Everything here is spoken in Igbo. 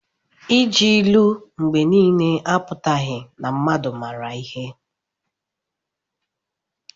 Iji ilu mgbe niile apụtaghị na mmadụ maara ihe.